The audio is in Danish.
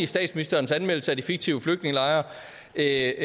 statsministerens anmeldelse af de fiktive flygtningelejre er